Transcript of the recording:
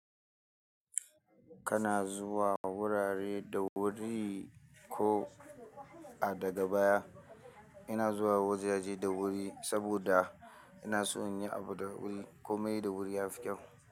Kana zuwa wurare da wuri ko a daga baya. Ina zuwa wajaje da wuri saboda ina so in yi abu da wuri komai da wuri yafi kyau.